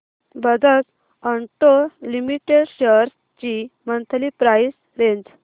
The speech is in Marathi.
बजाज ऑटो लिमिटेड शेअर्स ची मंथली प्राइस रेंज